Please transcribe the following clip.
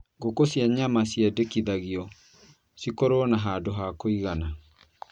Ngũkũ cia nyama ciendekithagio cikorũo na handũ ha kũigana